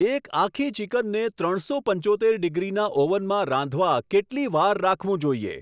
એક આખી ચિકનને ત્રણસો પંચોતેર ડિગ્રીના ઓવનમાં રાંધવા કેટલી વાર રાખવું જોઈએ